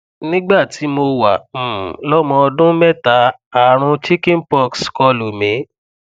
nígbà tí mo wà um lọmọ ọdún mẹta ààrùn chicken pox kọlù mí